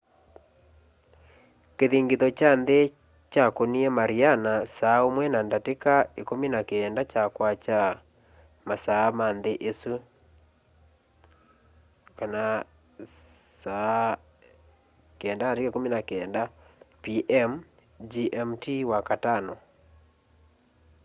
kĩthingitho kya nthĩ kyakũnie mariana saa ũmwe na ndatĩka ĩkũmi na kenda sya kwakya masaa ma nthĩ ĩsu 09:19 p.m. gmt wakatano